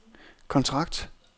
kontrakt